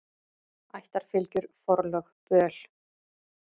Ættarfylgjur, forlög, böl.